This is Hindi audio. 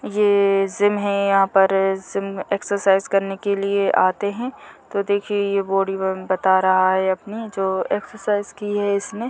ये जिम है यहाँ पर जिम में एक्सरसाइज करने लिए आते हैं तो दिखिए बॉडी ब बता रहा है अपने जो एक्सरसाइज की है इसने--